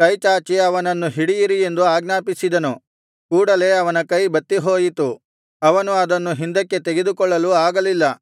ಕೈಚಾಚಿ ಅವನನ್ನು ಹಿಡಿಯಿರಿ ಎಂದು ಆಜ್ಞಾಪಿಸಿದನು ಕೂಡಲೇ ಅವನ ಕೈ ಬತ್ತಿ ಹೋಯಿತು ಅವನು ಅದನ್ನು ಹಿಂದಕ್ಕೆ ತೆಗೆದುಕೊಳ್ಳಲು ಅಗಲ್ಲಿಲ್ಲ